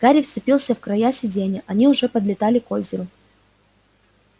гарри вцепился в края сиденья они уже подлетали к озеру